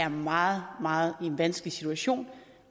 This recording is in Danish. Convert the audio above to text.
en meget meget vanskelig situation